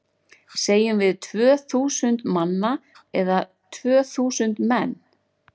Segjum við tvö þúsund manna eða tvö þúsund menn?